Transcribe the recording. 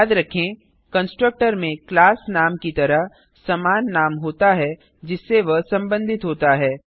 याद रखें कंस्ट्रक्टर में क्लास नाम की तरह समान नाम होता है जिससे वह संबधित होता है